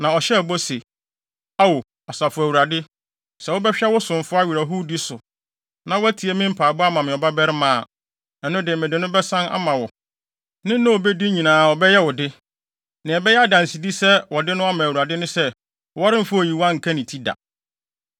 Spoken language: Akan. Na ɔhyɛɛ bɔ se, “Ao Asafo Awurade, sɛ wobɛhwɛ wo somfo awerɛhowdi so, na woatie me mpaebɔ ama me ɔbabarima a, ɛno de mede no bɛsan ama wo. Ne nna a obedi nyinaa ɔbɛyɛ wo de. Nea ɛbɛyɛ adansedi sɛ wɔde no ama Awurade ne sɛ wɔremfa oyiwan nka ne ti da.”